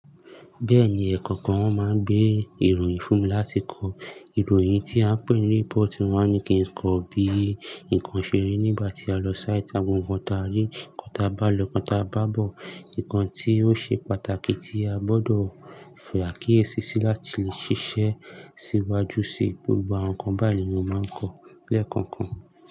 Bẹ́ẹ̀ni ẹ̀kọ́ kan won máa ń gbé ìròyìn fún mi láti kọ ìròyìn tí a ń pè ní report, wọn ní kí n kọ bí nǹkan ṣe rí nígbà tí a lọ sáìtì, àwọn nǹkan ta rí, nǹkan ta bá lọ, nǹkan ta bá bọ̀, nǹkan tí ó ṣe pàtàkì tí a gbọ́dọ̀ fì akíyèsi sí láti lè ṣiṣẹ́ síwájú síi, gbogbo àwọn nǹkan báyi nì mo máa ń kọ lẹ́ẹ̀kan kan.